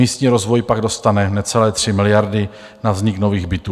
Místní rozvoj pak dostane necelé 3 miliardy na vznik nových bytů.